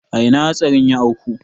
A ina hatsarin ya auku?